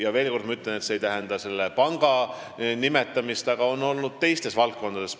Ma veel kord ütlen, et see ei ole selle pangaga seotud, neid on olnud teistes valdkondades.